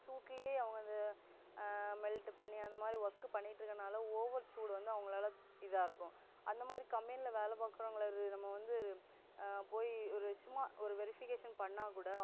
சூட்டுலேயே அவங்க அதை ஆஹ் melt பண்ணி அந்தமாதிரி work பண்ணிட்டு இருக்கதுனால over சூடு வந்து அவங்கலாள இதா இருக்கும் அந்தமாதிரி company ல வேலை பாக்குறவங்களை நம்ம வந்து ஆஹ் போய் ஒரு சும்மா ஒரு verification பண்ணா கூட